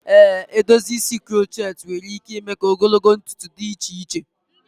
Ee, edozi isi crochet nwere ike ime ka ogologo ntutu dị iche iche.